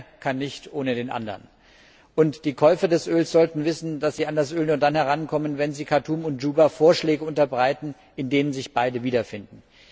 Der eine kann nicht ohne den anderen. Die Käufer des Öls sollten wissen, dass sie an das Öl nur dann herankommen, wenn sie Khartum und Juba Vorschläge unterbreiten, in denen sich beide wiederfinden.